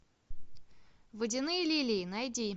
водяные лилии найди